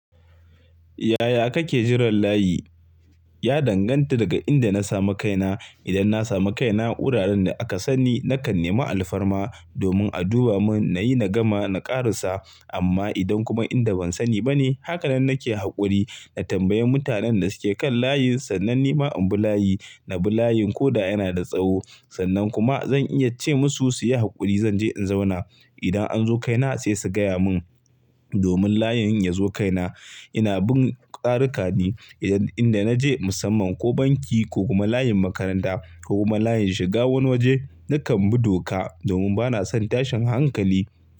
Yaya kake jiran layi? Ya danganta daga inda na samu kaina. Idan na samu kaina wuraren da aka san ni, nakan nemi alfarma domin a duba mun, na yi na gama na ƙarasa. Amma idan kuma inda ban sani ba ne, haka nan nake haƙuri. Na tambayi mutanen da suke kan layin sannan ni ma in bi layi. Na bi layin ko da yana da tsawo sannan kuma zan iya ce musu su yi haƙuri. Zan je in zauna. Idan an zo kaina sai su gaya mun. Domin layin in ya zo kaina ina bin tsarika ne. Idan inda naje musamman ko banki ko kuma layin makaranta ko kuma layin shiga wani waje, nakan bi doka domin bana son tashin hankali.